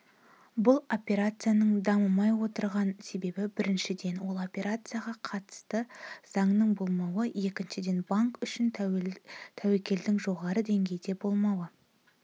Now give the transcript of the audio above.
бұл операцияның дамымай отырған себебі біріншіден осы операцияға қатысты заңның болмауы екіншіден банк үшін тәуекелдің жоғары деңгейде болмауы